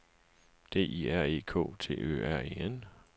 D I R E K T Ø R E N